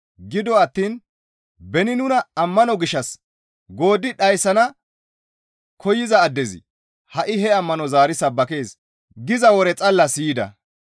Gido attiin, «Beni nuna ammano gishshas gooddi dhayssana koyza addezi ha7i he ammanoza zaari sabbakees» giza wore xalla siyida.